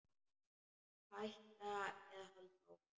Hætta eða halda áfram?